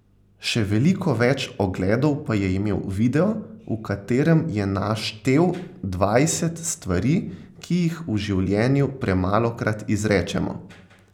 Še veliko več ogledov pa je imel video, v katerem je naštel dvajset stvari, ki jih v življenju premalokrat izrečemo.